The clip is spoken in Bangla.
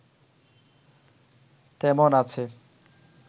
তেমন আছে